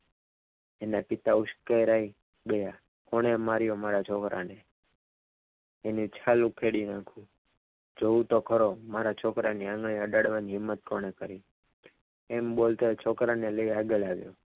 તેના પિતા ઉસકેરાય ગયા કોણે માર્યો મારા છોકરાન તેની છાલ ઉખડી નાખું તેણે જોવું તો ખરો મારા છોકરાને આંગળી અડાડવાની હિંમત કોને કરી એમ બોલતા છોકરાને લઈ આગળ આવ્યો.